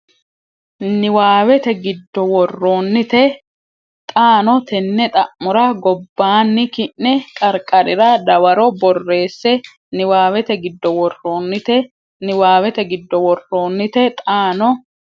Niwaawete giddo worroonnite xaano tenne xa mora gobbaanni ki ne qarqarira dawaro borreesse Niwaawete giddo worroonnite Niwaawete giddo worroonnite xaano.